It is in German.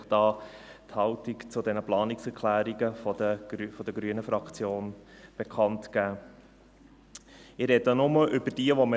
Ich spreche nur über diejenigen, bei denen wir eine Differenz haben, und dies sind die Planungserklärungen 5 und 11.